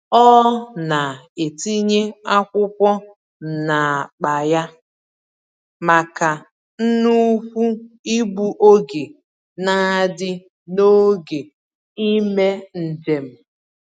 Ọ na-etinye akwụkwọ n'akpa ya maka nnukwu igbu oge n'adị n'oge ímé njem.